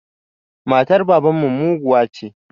Matar baban mu muguwa ce